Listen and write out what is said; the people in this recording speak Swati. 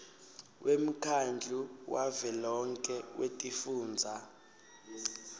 wemkhandlu wavelonkhe wetifundza